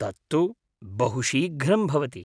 तत्तु बहुशीघ्रं भवति।